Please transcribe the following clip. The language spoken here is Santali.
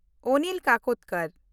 ᱚᱱᱤᱞ ᱠᱟᱠᱳᱰᱚᱠᱚᱨ